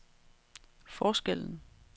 forskellen